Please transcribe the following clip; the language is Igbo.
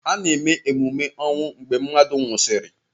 A na-eme ememe ọnwụ mgbe mmadụ nwụsịrị